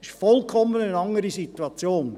Es ist eine gänzlich andere Situation.